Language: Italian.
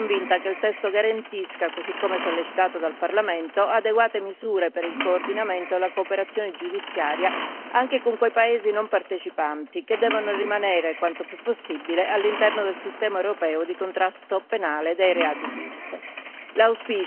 Ciononostante, sono convinta che il testo garantisca, così come sollecitato dal Parlamento, adeguate misure per il coordinamento e la cooperazione giudiziaria anche con quei Paesi non partecipanti, che devono rimanere quanto più possibile all'interno del sistema europeo di contrasto penale dei reati PIF.